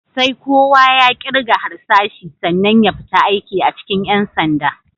Sai kowa ya ƙirga harsashi sannan ya fita aiki a cikin ƴan sanda.